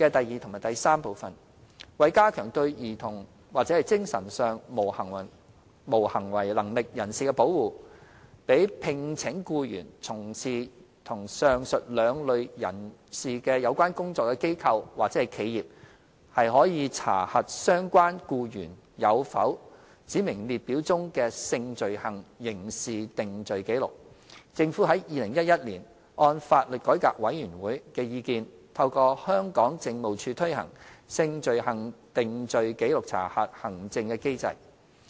二及三為加強對兒童或精神上無行為能力人士的保護，讓聘請僱員從事與上述兩類人士有關工作的機構或企業可查核相關僱員有否指明列表中的性罪行刑事定罪紀錄，政府於2011年按法律改革委員會的意見，透過香港警務處推行"性罪行定罪紀錄查核"行政機制。